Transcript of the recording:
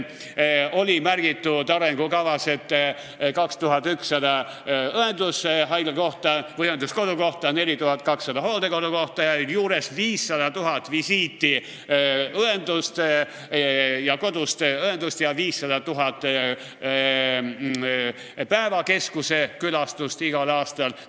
Arengukavas oli kirjas 2100 õenduskodukohta, 4200 hooldekodukohta ja sinna juurde 500 000 koduõevisiiti ja 500 000 päevakeskuse külastust igal aastal.